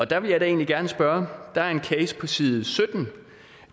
der vil jeg da egentlig gerne spørge der er en case på side sytten